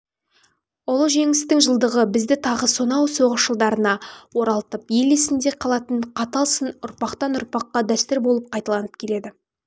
ұлы жеңістің жылдығы бізді тағы сонау соғыс жылдарына оралтып ел есінде қалатын қатал сын ұрпақтан ұрпаққа дәстүр болып қайталанып келеді